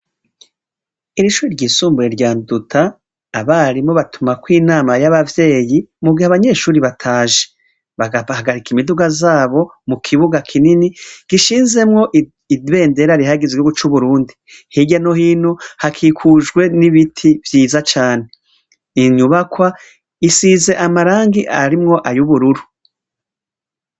Iri shure ryisumbuye rya Nduta abarimu batumako inama y'abavyeyi mu gihe abanyeshure bataje bagahagarika imiduga zabo mu kibuga kinini gishinzemwo ibendera rihayagiza igihugu c'Uburundi, hirya no hino hakikujwe n'ibiti vyiza cane, inyubakwa isize amarangi arimwo ayubururu.